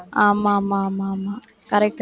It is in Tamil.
ஆமாமா ஆமாமா correct